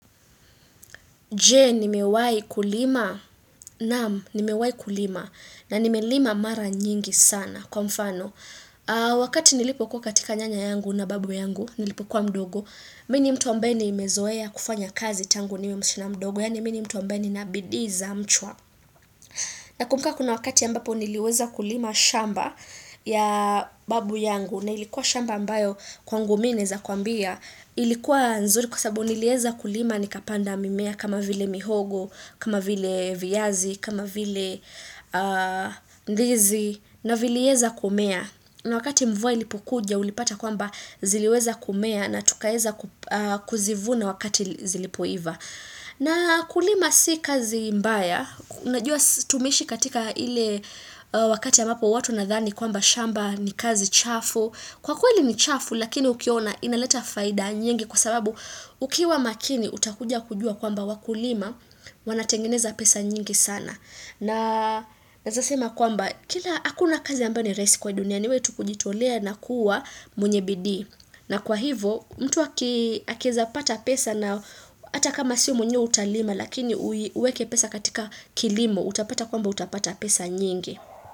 Je, nimewahi kulima na nimewahi kulima na nimelima mara nyingi sana kwa mfano. Wakati nilipo kuwa katika nyanya yangu na babu yangu, nilipo kuwa mdogo, mii ni mtu ambaye nimezoea kufanya kazi tangu niwe msichana mdogo, yaani mii ni mtu ambaye ni na bidii za mchwa. Na kumbuka kuna wakati ambapo niliweza kulima shamba ya babu yangu, na ilikuwa shamba ambayo kwangu mii naeza kuambia, Ilikuwa nzuri kwa sababu nilieza kulima nikapanda mimea kama vile mihogo, kama vile viazi, kama vile ndizi na vile weza kumea. Na wakati mvua ilipo kuja ulipata kwamba ziliweza kumea na tukaeza kuzivuna wakati zilipoiva. Na kulima si kazi mbaya. Najua sisi tumeishi katika ile wakati ambapo watu wanadhani kwamba shamba ni kazi chafu. Kwa kweli ni chafu lakini ukiona inaleta faida nyingi kwa sababu ukiwa makini utakuja kujua kwamba wakulima wanatengeneza pesa nyingi sana. Na naesema kwamba kila hakuna kazi ambaye ni rahisi kwa hii dunia niwee tu kujitolea na kuwa mweny bidii. Na kwa hivo mtu aki akieza pata pesa na ata kama sio mwenyewe utalima lakini uweke pesa katika kilimo utapata kwamba utapata pesa nyingi.